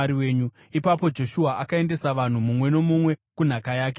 Ipapo Joshua akaendesa vanhu, mumwe nomumwe kunhaka yake.